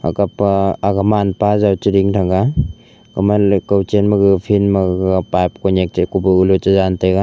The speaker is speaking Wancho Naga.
aga pa man pa jaw chi ding taiga fen ma gaga pipe ko .